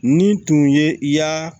Ni tun ye i y'a